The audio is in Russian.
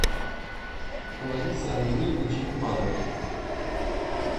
ларисе андреевне черепановой